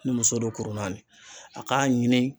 Ni muso don kuru naani a k'a ɲini